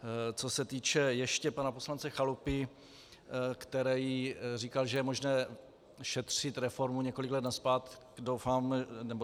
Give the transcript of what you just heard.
Co se týče ještě pana poslance Chalupy, který říkal, že je možné šetřit reformu několik let zpět.